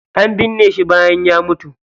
An binne shi bayan ya mutu.